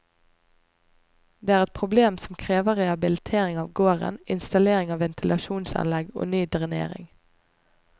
Det er et problem som krever rehabilitering av gården, installering av ventilasjonsanlegg og ny drenering.